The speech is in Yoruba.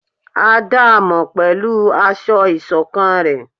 À daámọ pẹlú aṣọ isokán rẹ